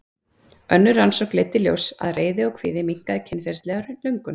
önnur rannsókn leiddi í ljós að reiði og kvíði minnkaði kynferðislega löngun